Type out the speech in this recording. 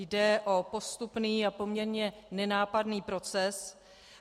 Jde o postupný a poměrně nenápadný proces.